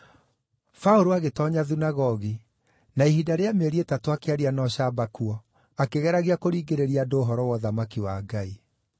Paũlũ agĩtoonya thunagogi, na ihinda rĩa mĩeri ĩtatũ akĩaria na ũcamba kuo, akĩgeragia kũringĩrĩria andũ ũhoro wa ũthamaki wa Ngai.